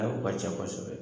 Ayi, o ka ca kosɛbɛ